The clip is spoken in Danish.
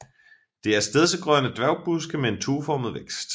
Det er stedsegrønne dværgbuske med en tueformet vækst